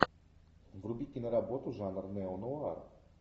вруби киноработу жанр неонуар